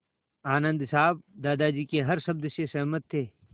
आनन्द साहब दादाजी के हर शब्द से सहमत थे